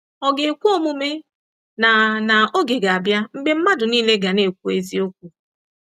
Ọ̀ ga ekwe omume na na oge ga-abịa mgbe mmadụ nile ga na-ekwu eziokwu?